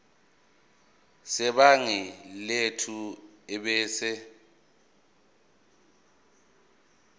sebhangi lethu ebese